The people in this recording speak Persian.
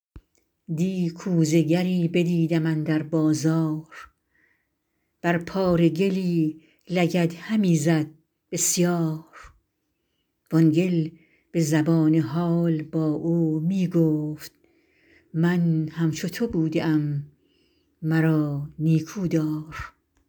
دی کوزه گری بدیدم اندر بازار بر پاره گلی لگد همی زد بسیار وآن گل به زبان حال با او می گفت من همچو تو بوده ام مرا نیکودار